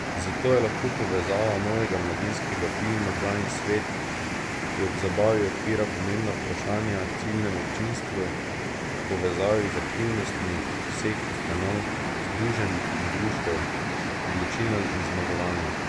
Zato je lahko povezava novega mladinskega filma Gajin svet, ki ob zabavi odpira pomembna vprašanja ciljnemu občinstvu, v povezavi z aktivnostmi vseh ustanov, združenj in društev, odločilna in zmagovalna.